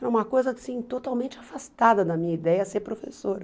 Era uma coisa assim totalmente afastada da minha ideia ser professora.